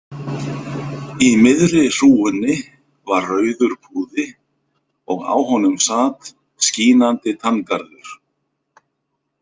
Í miðri hrúgunni var rauður púði og á honum sat skínandi tanngarður.